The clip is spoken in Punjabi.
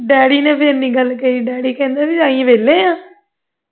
daddy ਨੇ ਫੇਰ ਇੰਨੀ ਗੱਲ ਕਹੀ daddy ਕਹਿੰਦੇ ਅਸੀਂ ਵੇਲੇ ਹੈ